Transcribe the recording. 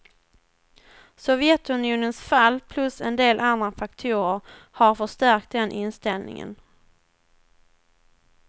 Sovjetunionens fall plus en del andra faktorer har förstärkt den inställningen.